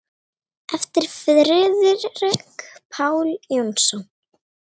eftir Friðrik Pál Jónsson